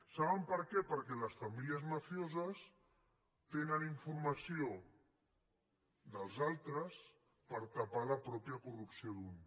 saben per què perquè les famílies mafioses tenen informació dels altres per tapar la pròpia corrupció d’un